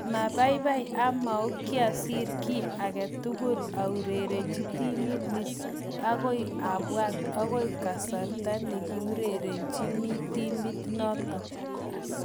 Maapaipai amau kiasir ki age tugul aurerenchini timit nit, ak akoi apwat akoi kasartanekiaurerenchini timit notok